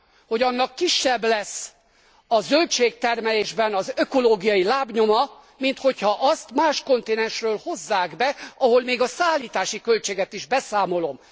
hogy annak kisebb lesz a zöldségtermelésben az ökológiai lábnyoma, mint hogyha azt más kontinensről hozzák be, ahol még a szállítási költséget is beszámolom.